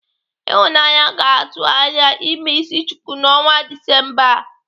Ịhụnanya ga-atụ anya ime isi chuku n'ọnwa Disemba a.